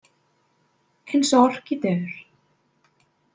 Eins og orkídeur